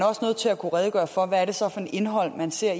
også nødt til at kunne redegøre for hvad det så er for et indhold man ser